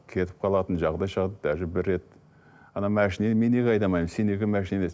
кетіп қалатын жағдай шығарды даже бір рет машинаны мен неге айдамаймын сен неге машина айдайсың